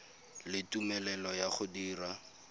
le tumelelo ya go dira